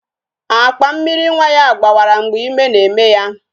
Akpa Mmịrị nwa ya gbawara mgbe ime na-eme ya